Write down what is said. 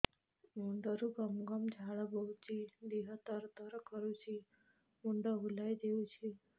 ମୁଣ୍ଡରୁ ଗମ ଗମ ଝାଳ ବହୁଛି ଦିହ ତର ତର କରୁଛି ମୁଣ୍ଡ ବୁଲାଇ ଦେଉଛି